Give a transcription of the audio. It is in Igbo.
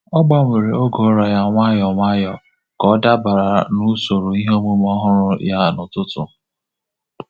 Ọ gbanwere oge ụra ya nwayọọ nwayọọ ka ọ dabara usoro iheomume ọhụrụ ya n'ụtụtụ.